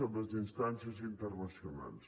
en les instàncies internacionals